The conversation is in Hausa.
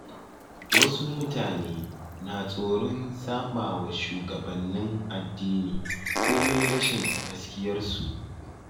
Wasu mutane na tsoron saɓawa shugabannin addini komai rashin gaskiyarsu.